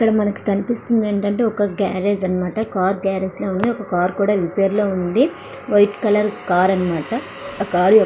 ఇక్కడ మనకి కనిపిస్తుంది ఏంటంటే ఒక గ్యారేజ్ అన్నమాట కారు గారేజ్ లాగా ఉంది. ఇక్కడ కార్ కూడా రిపేర్ అవుతుంది వైట్ కలర్ అన్నమాట. ఆ కార్ --